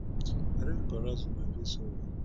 i don embarrass una i dey sorry